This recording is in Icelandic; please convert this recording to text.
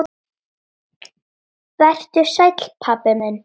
Vertu sæll, pabbi minn.